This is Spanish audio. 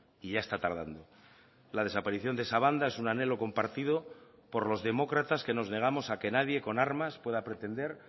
y ya está tardando la desaparición de esa banda es un anhelo compartido por los demócratas que nos negamos a que nadie con armas pueda pretender